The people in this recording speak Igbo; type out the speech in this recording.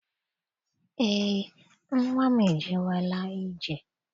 Eé, nnwa m ejewela ije.